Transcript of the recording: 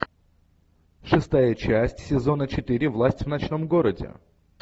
шестая часть сезона четыре власть в ночном городе